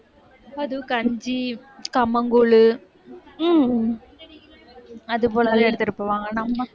அதுவும், கஞ்சி கம்மங்கூழ் உம் அது போலவே எடுத்துட்டு போவாங்க.